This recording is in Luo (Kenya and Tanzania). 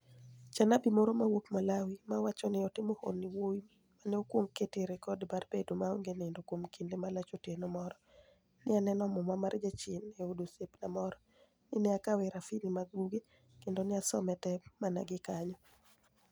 Janiabi moro mawuok Malawi, ma wacho nii otimo honinii Wuowi ma ni e okwonig ketie rekod mar bedo maonige niinido kuom kinide malach Otieno moro, ni e ani eno Muma mar jachieni e od osiepnia moro, ni e akawe e rafinii mar buge, kenido ni e asome te mania gi kaniyo.